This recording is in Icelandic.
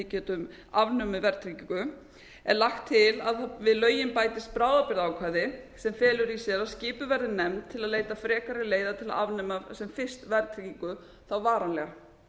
getum afnumið verðtryggingu er lagt til að við lögin bætist bráðabirgðaákvæði sem felur í sér að skipuð verði nefnd til að leita frekari leiða til að afnema sem fyrst verðtryggingu þá varanlega